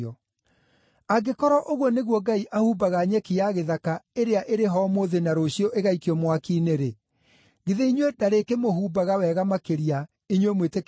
Angĩkorwo ũguo nĩguo Ngai ahumbaga nyeki ya gĩthaka ĩrĩa ĩrĩ ho ũmũthĩ na rũciũ ĩgaikio mwaki-inĩ-rĩ, githĩ inyuĩ ndarĩkĩmũhumbaga wega makĩria, inyuĩ mwĩtĩkĩtie o hanini?